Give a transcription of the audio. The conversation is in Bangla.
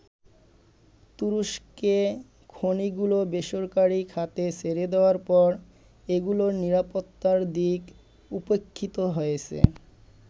তুরস্কে খনিগুলো বেসরকারি খাতে ছেড়ে দেয়ার পর এগুলোর নিরাপত্তার দিক উপেক্ষিত হয়েছে।